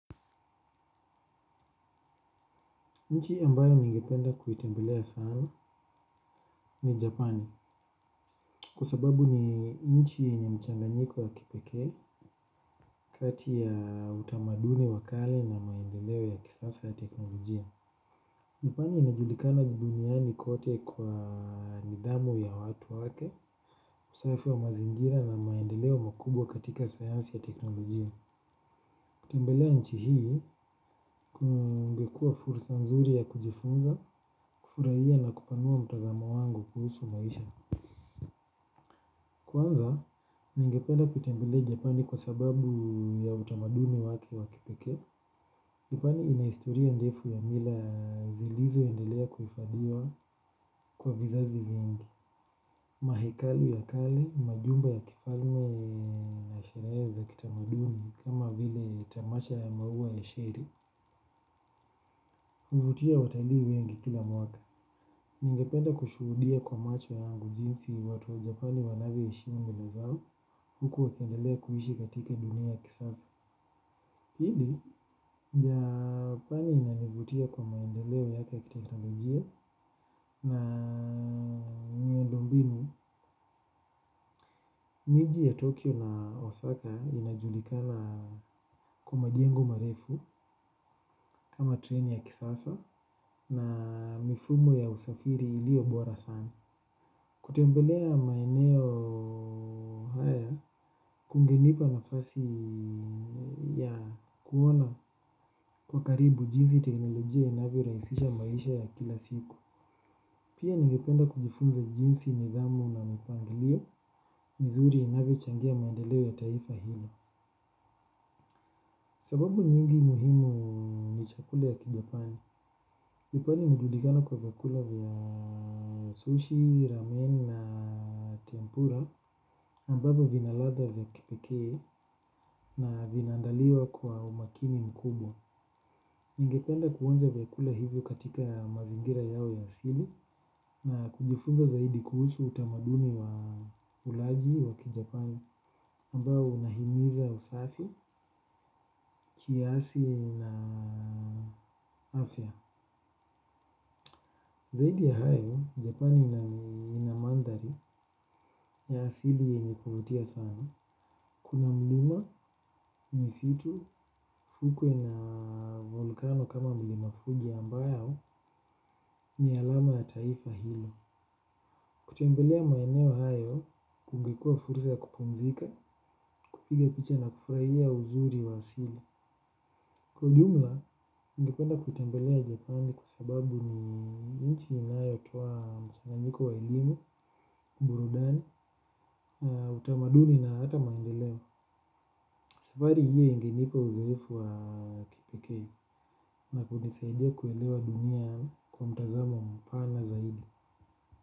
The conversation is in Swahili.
Nchi mbayo ningependa kuitembelea sana ni Japan. Kwasababu ni nchi yenye mchanganyiko ya kipekee. Kati ya utamaduni wakale na maendeleo ya kisasa ya teknologijia Japani inajulikana duniani kote kwa nidhamu ya watu wake. Usafi wa mazingira na maendeleo makubwa katika sayansi ya teknologijia. Kutembelea nchi hii kungekua fursa nzuri ya kujifunza. Kufurahia na kupanua mtazamo wangu kuhusu maisha. Kwanza, ningependa kutambelea Japani kwa sababu ya utamaduni wake wakipekee Japani inahistoria ndefu ya mila zilizo endelea kufadhiwa kwa vizazi vingi. Mahekalu kali, majumba ya kifalme na sherehe kitamaduni kama vile tamasha ya maua ya shiri huvutia watalii wengi kila mwaka. Ningependa kushuhudia kwa macho yangu jinsi watu wa Japani wanavyo heshimu mila zao huku wakiendelea kuishi katika dunia ya kisasa. Pili, Japani inanivutia kwa maendeleo yake ya kiteknolojia na miundombinu, miji ya Tokyo na Osaka inajulikala kwa majengo marefu kama treni ya kisasa na mifumo ya usafiri ilio bora sana. Kutembelea maneo haya, kungenipa nafasi ya kuona kwa karibu jinsi teknolojia inavyo rahisisha maisha ya kila siku. Pia ningependa kujifunza jinsi nidhamu na mpangilio, mzuri inavyochangia maandeleo ya taifa hilo. Sababu nyingi muhimu ni chakula ya kijapani Kipwani inajulikana kwa vyakula vya sushi, ramen na tempura ambavyo vina ladha vya kipekee na vinaandaliwa kwa umakini mkubwa. Ningependa kuonja chakula hizo katika mazingira yao ya asili na kujifunza zaidi kuhusu utamaduni wa ulaji wa kijapani ambayo unahimiza usafi kiasi na afya. Zaidi ya hayo, Japani ina mandhari ya asili yenye kuvutia sana. Kuna mlima, misitu, fukwe na volkano kama mlimafugi ambayo ni alama ya taifa hilo. Kutembelea maeneo hayo, kungekua fursa ya kupumzika, kupiga picha na kufraia uzuri wa asili. Kwa jumla, ningependa kutembelea Japani kwa sababu ni nchi inayotoa mchanganjiko wa elimu, burudani, utamaduni na hata maendeleo. Safari hiyo ingenipa uzoefu wa kipekee na kunisaidia kuelewa dunia kwa mtazamo mpana zaidi.